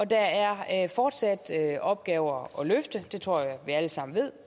der er fortsat opgaver at løfte det tror jeg vi alle sammen ved